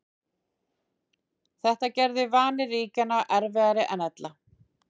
Þetta gerði varnir ríkjanna erfiðari en ella.